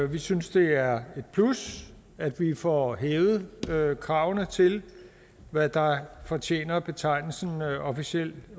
vi synes det er et plus at få hævet kravene til hvad der fortjener betegnelsen officiel